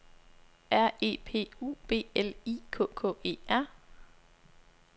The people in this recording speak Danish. R E P U B L I K K E R